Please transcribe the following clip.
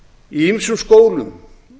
í ýmsum skólum